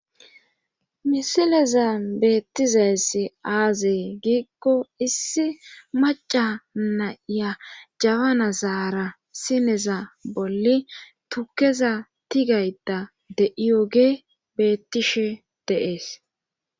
Misileza beettizayssi aazee giikko issi maca naya jabana zaara sineza bolli tukeza tigayta de7iyoge bettishe deees